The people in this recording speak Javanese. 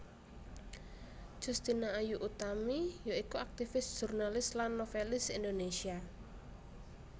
Justina Ayu Utami ya iku aktivis jurnalis lan novèlis Indonésia